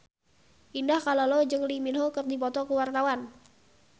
Indah Kalalo jeung Lee Min Ho keur dipoto ku wartawan